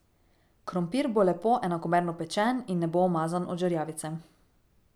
Krompir bo lepo enakomerno pečen in ne bo umazan od žerjavice.